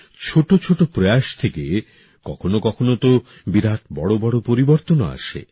ছোট ছোট প্রয়াস থেকে কখনো কখনো তো বিরাট বড় বড় পরিবর্তনও আসে